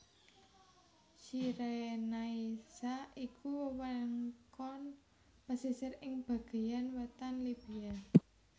Cyrenaica iku wewengkon pesisir ing bagéyan wétan Libya